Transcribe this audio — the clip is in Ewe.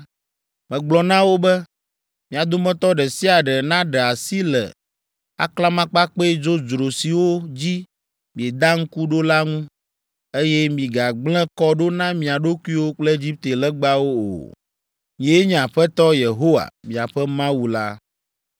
Megblɔ na wo be, “Mia dometɔ ɖe sia ɖe naɖe asi le aklamakpakpɛ dzodzro siwo dzi mieda ŋku ɖo la ŋu, eye migagblẽ kɔ ɖo na mia ɖokuiwo kple Egipte legbawo o. Nyee nye Aƒetɔ Yehowa, miaƒe Mawu la.”